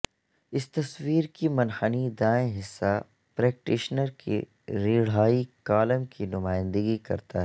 اس تصویر کی منحنی دائیں حصہ پریکٹیشنر کی ریڑھائی کالم کی نمائندگی کرتا ہے